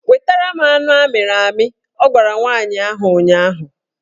Wetara m anụ amịrị amị! Ọ gwara nwaanyị ahụ ụnyaahụ